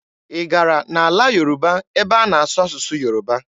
Ị gara n'ala Yoruba ebe a na-asụ asụsụ Yoruba?